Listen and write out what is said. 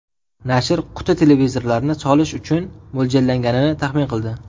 Nashr quti televizorlarni solish uchun mo‘ljallanganini taxmin qildi.